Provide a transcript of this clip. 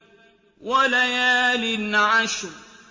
وَلَيَالٍ عَشْرٍ